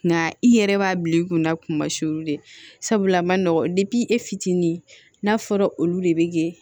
Nka i yɛrɛ b'a bil'i kun na kuma si de la sabula a man nɔgɔn e fitinin n'a fɔra olu de be kɛ